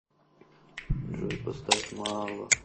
джой поставь маала